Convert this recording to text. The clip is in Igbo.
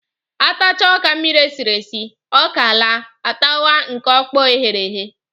A tachaa ọka mmiri e siri esi, ọka laa, a tawa nke ọkpọọ e ghere eghe